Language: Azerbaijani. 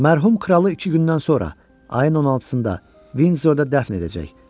Mərhum kralı iki gündən sonra, ayın 16-sında Vindzorda dəfn edəcək.